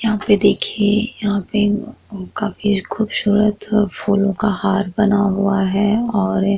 यहाँ पे देखिए यहाँ पे अ काफी खुबसूरत अ फूलो का हार बना हुआ हैं और एक --